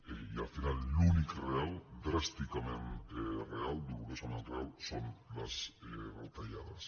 i al final l’únic real dràsticament real dolorosament real són les retallades